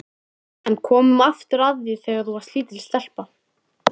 En komum aftur að því þegar þú varst lítil stelpa.